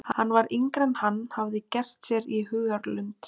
Hann var yngri en hann hafði gert sér í hugarlund.